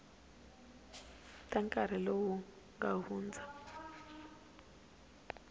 ta nkarhi lowu nga hundza